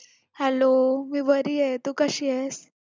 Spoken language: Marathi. hello मी बरीये तू कशीयेस